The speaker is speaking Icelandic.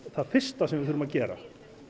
það fyrsta sem við þurfum að gera